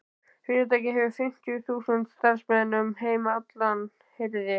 Fyrirtækið hefur fimmtíu þúsund starfsmenn um heim allan heyrði